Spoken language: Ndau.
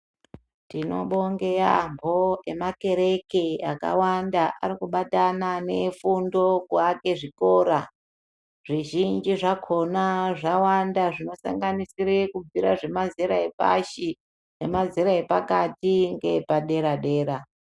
Tinobonge yaambo emakereke akawanda arikubatana neefundo kuwake zvikora. Zvizhinji zvakona zvawanda zvinosanganisire zvinobvire pamazera epashi ,nemazera epakati ngeepadera dera.